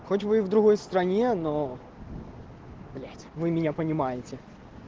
хоть вы и в другой стране но блять вы меня понимаете